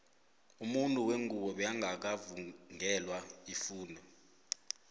umuntu wengubo bekangaka vungelwa ifundo